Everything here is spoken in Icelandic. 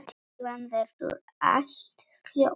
Síðan verður allt hljótt.